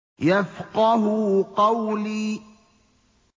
يَفْقَهُوا قَوْلِي